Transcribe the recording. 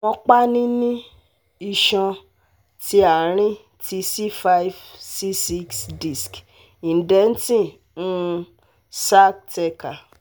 Awọn panini-iṣan ti aarin ti C five C six disc indenting um sac thecal